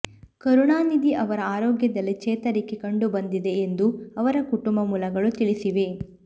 ಕರುಣಾನಿಧಿ ಅವರ ಆರೋಗ್ಯದಲ್ಲಿ ಚೇತರಿಕೆ ಕಂಡುಬಂದಿದೆ ಎಂದು ಅವರ ಕುಟುಂಬ ಮೂಲಗಳು ತಿಳಿಸಿವೆ